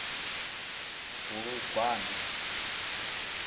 bulugwane